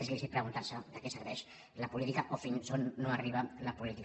és lícit preguntar se de què serveix la p olítica o fins on no arriba la política